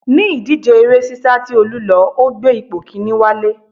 Ní ìdíje eré sisa tí Olú lọ, ó gbé ipò kinni wálé